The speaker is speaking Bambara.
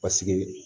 Paseke